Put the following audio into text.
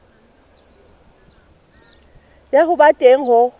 ya ho ba teng ho